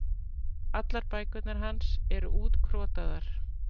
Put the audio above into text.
Allar bækurnar hans eru útkrotaðar.